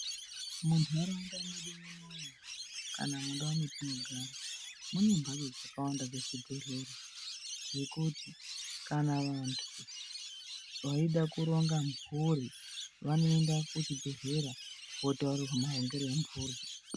Muntaraunda mwedu munomu kana mundau mwetinogara mune ndau dzakawanda dzezvibhedhlera dzekuti kana vantu veida kuronga mhuri vanoenda kuchibhedhlera votaurirwa marongero emhuri.